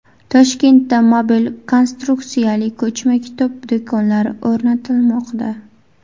Toshkentda mobil konstruksiyali ko‘chma kitob do‘konlari o‘rnatilmoqda.